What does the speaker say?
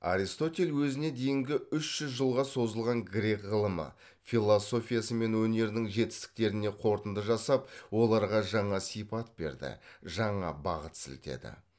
аристотель өзіне дейінгі үш жүз жылға созылған грек ғылымы философиясы мен өнерінің жетістіктеріне қорытынды жасап оларға жаңа сипат берді жаңа бағыт сілтеді